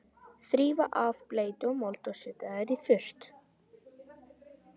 Þrífa af bleytu og mold og setja þær í þurrt.